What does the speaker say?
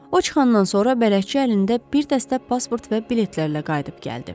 O çıxandan sonra bələdçi əlində bir dəstə pasport və biletlərlə qayıdıb gəldi.